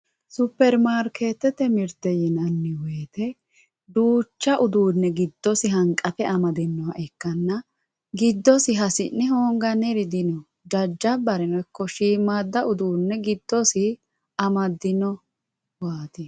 superimaarkeettete mirte yineemmoti duucha uduunne giddosi hanqafe amadinoha ikkanna giddosi hasi'ne hoonganniri dino jajjabbareno ikko shiimmaadda uduunne giddosi amaddinote.